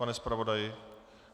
Pane zpravodaji?